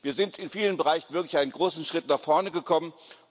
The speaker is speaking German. Wir sind in vielen Bereichen wirklich einen großen Schritt nach vorne gekommen.